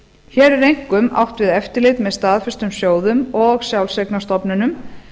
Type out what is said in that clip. hér er einkum átt við eftirlit með staðfestum sjóðum og sjálfseignarstofnunum